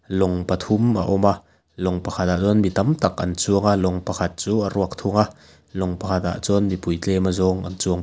lawng pathum a awm a lawng pakhatah chuan mi tam tak an chuang a lawng pakhat chu a ruak thung a lawng pakhat ah chuan mipui tlem a zawng an chuang --